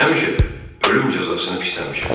Həmişə də ölüm cəzasını pisləmişəm.